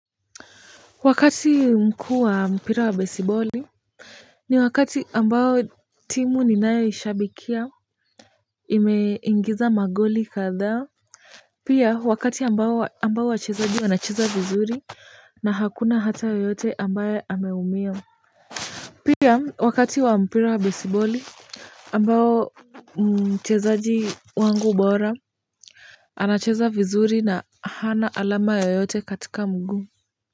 Wakati mkuu wa mpira wa besiboli. Ni wakati ambayo timu ninayoishabikia imeingiza magoli kadhaa pia wakati ambao wachezaji wanacheza vizuri na hakuna hata yeyote ambaye ameumia pia wakati wa mpira wa besiboli ambao mchezaji wangu bora anacheza vizuri na hana alama yoyote katika mguu.